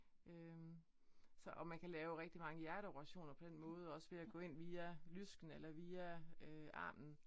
Øh så og man kan lave rigtig mange hjerteoperationer på den måde også ved at gå ind via lysken eller via armen